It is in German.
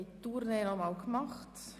Wir haben die Runde nochmals gemacht.